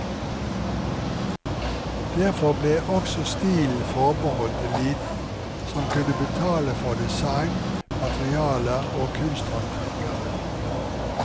Derfor ble også stilen forbeholdt eliten, som kunne betale for design, materialer og kunsthåndverkere.